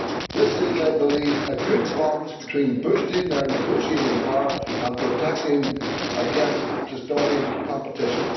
This is, I believe, a good balance between boosting their negotiating power and protecting against distorting competition.